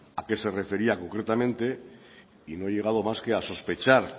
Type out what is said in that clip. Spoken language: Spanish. a qué se refería concretamente y no he llegado más que a sospechar